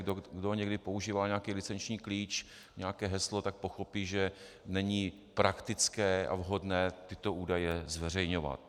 Kdo někdy používá nějaký licenční klíč, nějaké heslo, tak pochopí, že není praktické a vhodné tyto údaje zveřejňovat.